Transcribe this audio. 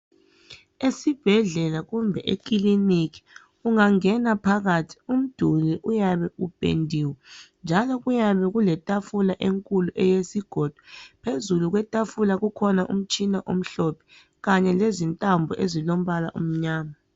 Esibhedlela kumbe ekilinika ungangena phakathi umduli uyabe upendiwe njalo kuyabe kuletafula enkulu eyesigodo phezulu kwetafula kukhona umtshina omhlophe kanye lezintambo ezilombala omnyama.